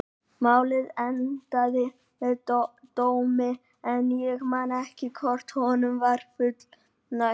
Málið endaði með dómi en ég man ekki hvort honum var fullnægt.